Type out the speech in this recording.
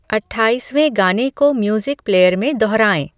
अट्ठाईसवें गाने को music player में दोहराएं